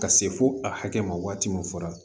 Ka se fo a hakɛ ma waati min fɔra